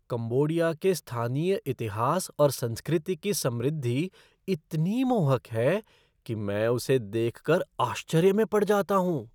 Cambodia के स्थानीय इतिहास और संस्कृति की समृद्धि इतनी मोहक है कि मैं उसे देख कर आश्चर्य में पड़ जाता हूँ।